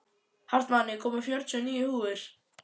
Hartmann, ég kom með fjörutíu og níu húfur!